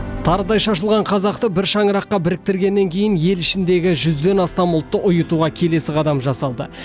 тарыдай шашылған қазақты бір шаңыраққа біріктіргеннен кейін ел ішіндегі жүзден астам ұлтты ұйытуға келесі қадам жасалды